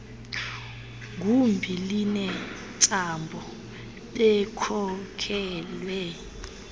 gumbi linentsapho bekhokelwe